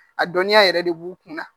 A dɔnniya yɛrɛ de b'u kunna